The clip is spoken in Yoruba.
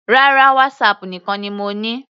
Rárá, WhatsApp nìkan ni mo ní.